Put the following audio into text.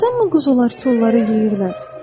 Doğrudanmı quzular kollarə yeyirlər?